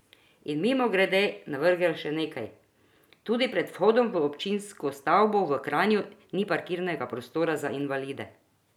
In mimogrede navrgel še nekaj: 'Tudi pred vhodom v občinsko stavbo v Kranju ni parkirnega prostora za invalide.